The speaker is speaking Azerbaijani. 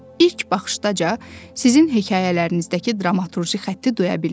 İlk baxışdaca sizin hekayələrinizdəki dramaturji xətti duya bildim.